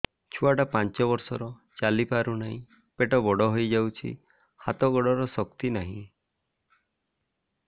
ଛୁଆଟା ପାଞ୍ଚ ବର୍ଷର ଚାଲି ପାରୁନାହଁ ପେଟ ବଡ ହୋଇ ଯାଉଛି ହାତ ଗୋଡ଼ର ଶକ୍ତି ନାହିଁ